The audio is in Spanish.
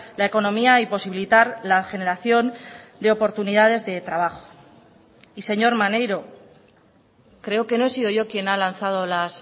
la economía y posibilitar la generación de oportunidades de trabajo y señor maneiro creo que no he sido yo quien ha lanzado las